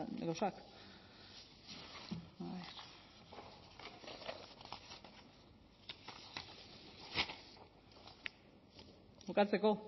gauzak bukatzeko